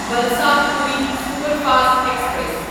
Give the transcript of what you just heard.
Valsad Puri superfast express